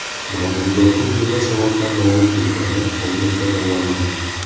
Mavjudotning nima sababdan nobud bo‘lgani hozircha noma’lum.